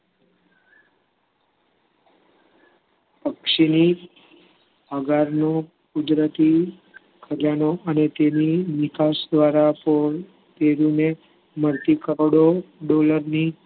કુદરતી તેની નીખાસ દ્વારા તેમને મળતી કરોડો dollar ની